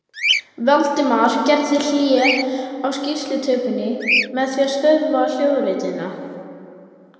Valdimar gerði hlé á skýrslutökunni með því að stöðva hljóðritunina.